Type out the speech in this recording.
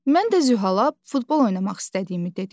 Mən də Zühala futbol oynamaq istədiyimi dedim.